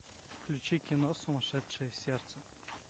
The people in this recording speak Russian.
включи кино сумасшедшее сердце